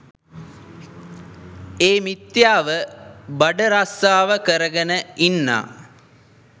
ඒ මිථ්‍යාව බඩරස්සාව කර ගෙන ඉන්නා